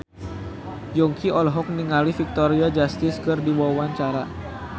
Yongki olohok ningali Victoria Justice keur diwawancara